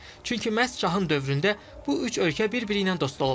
Çünki məhz şahın dövründə bu üç ölkə bir-biri ilə dost olub.